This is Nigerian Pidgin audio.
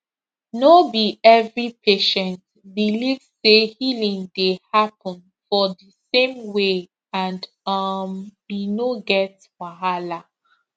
no be every patient believe say healing dey happen for di same way and um e no get wahala